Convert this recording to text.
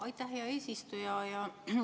Aitäh, hea eesistuja!